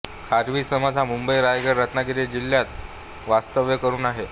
खारवी समाज हा मुंबई रायगड रत्नागिरी जिल्ह्यात वास्तव्य करून आहे